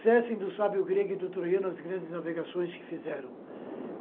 Cessem do sábio grego e do troiano as grandes navegações que fizeram.